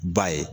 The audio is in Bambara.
Ba ye